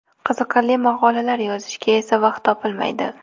Qiziqarli maqolalar yozishga esa vaqt topilmaydi.